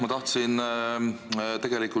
Aitäh!